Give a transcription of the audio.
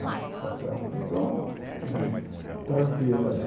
Né tá certo então, tranquila lá.